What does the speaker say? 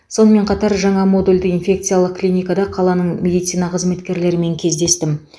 сонымен қатар жаңа модульді инфекциялық клиникада қаланың медицина қызметкерлерімен кездестім